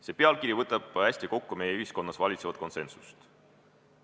See pealkiri võtab hästi kokku meie ühiskonnas valitseva konsensuse.